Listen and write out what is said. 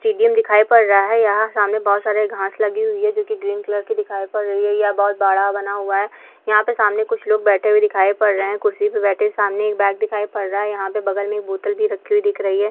Stadium दिखाई पड रहा है यहाँ सामने बहुत सारे घाँस लगी हुई है जो कि ग्रीन कलर की दिखाई पड रही है यहाँ बहुत बड़ा बना हुआ है यहाँ पे सामने कुछ लोग बैठे हुये दिखाई पड रहे है कुर्सी पे बैठे सामने एक बैग दिखाई पड रहा यहाँ पे बगल मे एक बोतल भी रखी हुई दिख रही है।